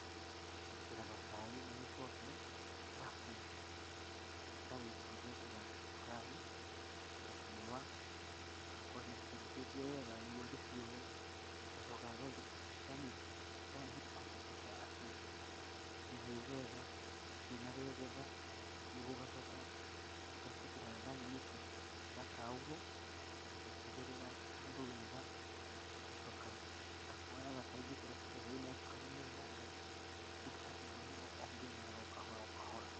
Njĩkĩraga cai na gĩkombe harabu cai ũcio ngawĩkĩra cukari, ngaciũwa ngakorwo ndicitherũkĩtie wega nĩguo ndĩciũwe. Ngacoka ngahakikisha atĩ nĩhĩu wega itire na rwegetha. Nĩguo ngacoka ngaciĩkĩra gathaninĩ kega ga kauro ngacigĩrĩra handũ wega, ngacoka ngoya cai ngĩkĩra gacukari thĩinĩ wega ngakunda o ngĩrũmaga ũngĩyuaga o kahora o kahora.